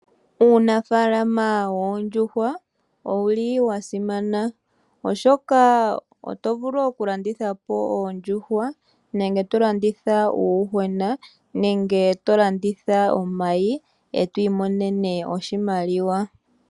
Uunafalama woondjuhwa owuli wa simana oshoka otovulu okulandithapo oondjuhwa nenge okulanditha uuyuhwena nenge tolanditha omayi etwi monene oshimaliwa.